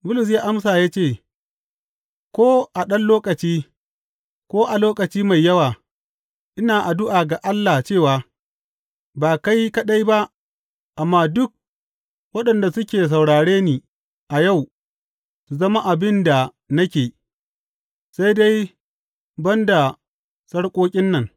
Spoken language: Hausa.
Bulus ya amsa ya ce, Ko a ɗan lokaci, ko a lokaci mai yawa, ina addu’a ga Allah cewa, ba kai kaɗai ba amma duk waɗanda suke saurare ni a yau su zama abin da nake, sai dai ban da sarƙoƙin nan.